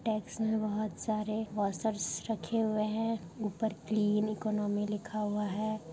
Takes में बोहोत सारे वॉशर्स रखे हुए हैं ऊपर क्लीन ईकोनोमी लिखा हुआ है।